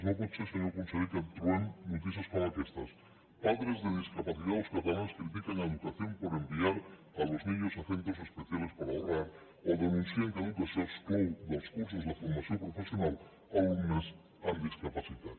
no pot ser senyor conseller que trobem notícies com aquestes padres de discapacitados catalanes critican a educación por enviar a los niños a centros especiales para ahorrar o denuncien que educació exclou dels cursos de formació professional alumnes amb discapacitat